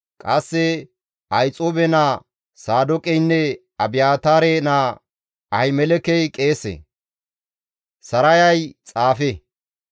Qasse Ahixuube naa Saadooqeynne Abiyaataare naa Ahimelekey qeese; Sarayay xaafe.